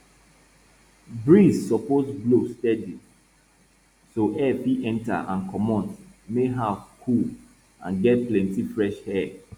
breeze suppose blow steady so air fit enter and comot make house cool and get plenti fresh air